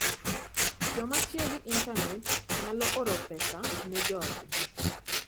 Joma tiyo gi intanet nyalo oro pesa ne joodgi.